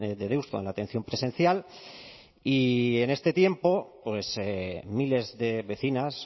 de deusto en la atención presencial y en este tiempo pues miles de vecinas